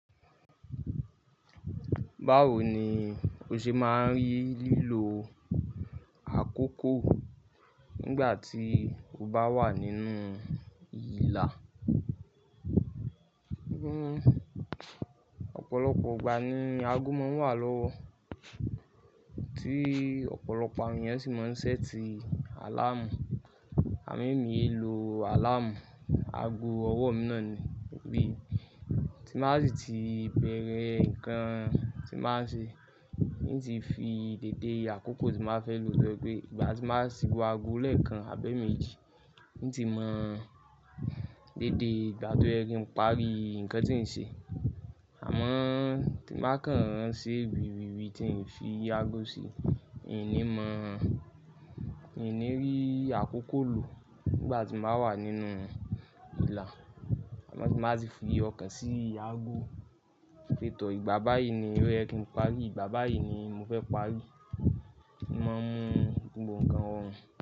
Báwo ni o ṣe máa ń rí lílo àkókò nígbà tí o bá wà nínú ìlà? Ọ̀pọ̀lọpọ̀ ìgbà ni ago máa ń wà lọ́wọ́, tí ọ̀pọ̀lọpọ̀ awon enìyàn sì máa ń ṣẹ́ti àláàmù. Àmín, èmi ee lo àláàmù, ago ọwọ́ mi náà ni, bí tí má sì ti bẹ̀rẹ̀ nǹkan tí máa ń ṣe, ní ti fi dèdé àkókò tí màá fẹ́ lò lọ́wọ́ pé, ìgbà tí màá sì wo ago lẹ́ẹ̀kan àbẹ́ méjì, i n ti mọ̀ dédé ìgbá to ye ki n parí nǹkan tí ń ṣe. Àmọ́ tí màá kàn án se wiwí tí ń fi àgo sí, ìní mọ̀, ìní rí àkókò lò nígbà tí n ba wà nínú ìlà. Ti ba ti fi ọkàn sí àgo, pé tọ́ ìgbà báyìí ni ó yẹ kí n parí, ìgbà báyìí ni mo fẹ́ parí. Mo máa ń mu gbogbo nǹkan hàn.